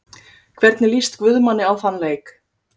Hvernig lýst Guðmanni á þann leik?